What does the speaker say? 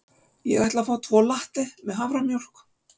Ég ætla að fá tvo latte með haframjólk.